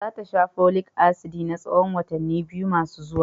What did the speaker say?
Za ta sha Folic asidi na tsahon watanni biyu masu zuwa.